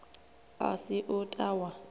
a si u ta wa